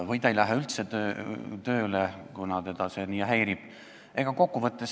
Või ta ei lähe üldse tööle, kuna see teda nii häirib.